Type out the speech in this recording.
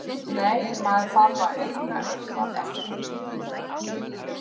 Nei, maður þarf að eiga eitthvað eftir.